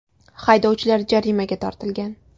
Haydovchilar jarimaga tortilgan.